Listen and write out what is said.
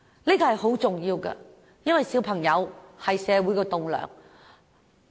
這是十分重要的，因為小孩是社會的棟樑。